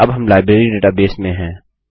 अब हम library database में है